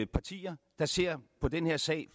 partier der ser på den her sag